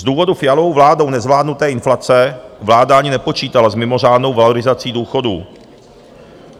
Z důvodu Fialovou vládou nezvládnuté inflace vláda ani nepočítala s mimořádnou valorizací důchodů.